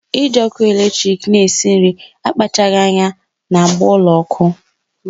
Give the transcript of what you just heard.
Iji ọkụ latrik na-esi nri akpachaghi anya na-agba ụlọ ọkụ